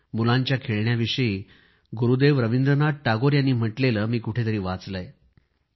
मुलांच्या खेळण्यांविषयी गुरूदेव रवींद्रनाथ टागोर यांनी म्हटलेले मी कुठंतरी वाचले आहे